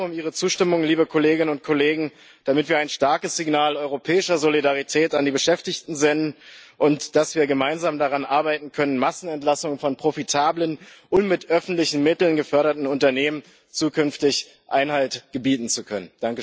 Ich werbe um Ihre Zustimmung, liebe Kolleginnen und Kollegen, damit wir ein starkes Signal europäischer Solidarität an die Beschäftigten senden, und damit wir gemeinsam daran arbeiten können, Massenentlassungen von profitablen und mit öffentlichen Mitteln geförderten Unternehmen zukünftig Einhalt gebieten zu können.